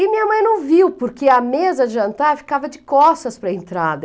E minha mãe não viu, porque a mesa de jantar ficava de costas para a entrada.